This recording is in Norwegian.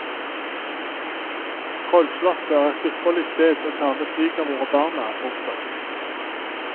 Trollslottet er et ypperlig sted å ta med svigermor og barna. punktum